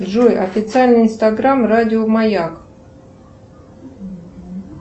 джой официальный инстаграм радио маяк